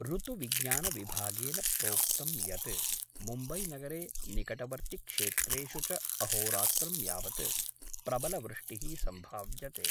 ऋतुविज्ञानविभागेन प्रोक्तं यत् मुम्बैनगरे निकटवर्तिक्षेत्रेषु च अहोरात्रं यावत् प्रबलवृष्टिः सम्भाव्यते।